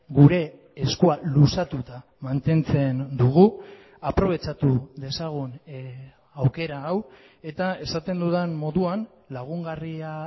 gure eskua luzatuta mantentzen dugu aprobetxatu dezagun aukera hau eta esaten dudan moduan lagungarria